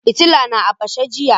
Fitilla na a fashe jiya